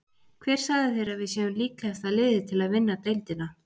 Hver sagði þér að við séum líklegasta liðið til að vinna deildina?